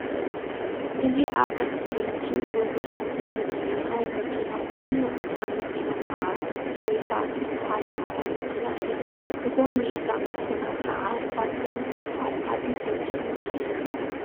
ኣዚ ኣብ እስክሪን እትሪእዎ ዘለኩም ምስሊ ናይ መኪና ኮይኑ እታ መኪና ከዓ ቶዮታ እትብል ፃዕዳ መኪና እያ። ብጎኒ እታ መኪና ከዓ ሳብያን ዝብሃል ዓብዪ ሆተል እኒሄ።